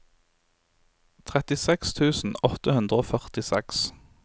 trettiseks tusen åtte hundre og førtiseks